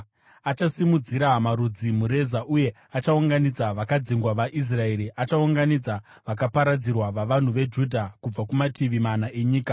Achasimudzira marudzi mureza uye achaunganidza vakadzingwa vaIsraeri; achaunganidza vakaparadzirwa vavanhu veJudha, kubva kumativi mana enyika.